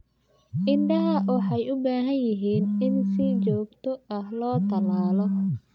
Idaha waxay u baahan yihiin in si joogto ah loo tallaalo.